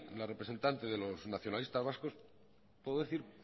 la representante de los nacionalistas vascos puedo decir